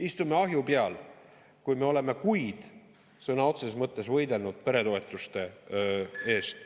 Istume ahju peal, kui me oleme kuid sõna otseses mõttes võidelnud peretoetuste eest?